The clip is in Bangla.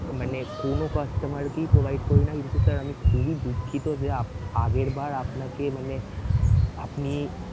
মানে কোন customer কেই provide করি না কিন্তু sir আমি খুবই দুঃখিত যে আপ~আগেরবার আপনাকে মানে আপনি